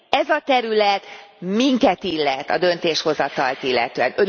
Ez a terület minket illet a döntéshozatalt illetően.